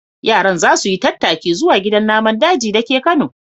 Yaran za su yi tattaki zuwa gidan naman daji da ke Kano.